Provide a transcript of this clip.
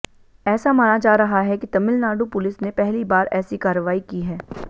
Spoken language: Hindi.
ऐसा माना जा रहा है कि तमिलनाडु पुलिस ने पहली बार ऐसी कार्रवाई की है